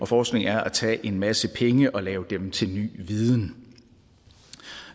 forskning er at tage en masse penge og lave dem til ny viden